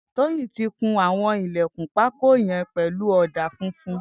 Toyin ti kún awọn ilẹ̀kún pàkó yèn pẹ̀lú awọn ọ̀dá fúnfún